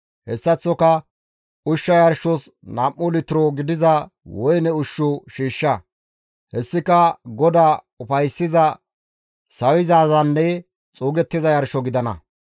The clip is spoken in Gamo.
Hessaththoka ushsha yarshos nam7u litiro gidiza woyne ushshu shiishsha; hessika GODAA ufayssiza, sawizaazanne xuugettiza yarsho gidana.